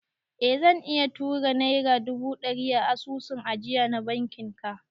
Eh zan iya tura naira dubu ɗari a asusun ajiya na bankin ka